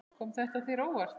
Kom þetta þér á óvart?